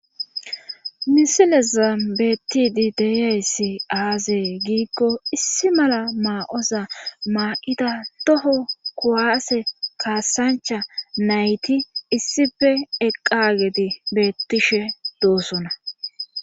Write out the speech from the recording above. misilezan beettidi deyayssi aazee giikko issi mala maayoza maayidi toho kuwaase kaassancha nayti issife eqqagedi bettishe doosona.